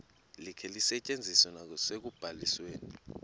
likhe lisetyenziswe nasekubalisweni